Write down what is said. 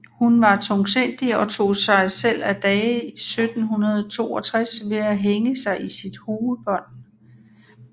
Hun var tungsindig og tog sig selv af dage 1762 ved at hænge sig i sit huebånd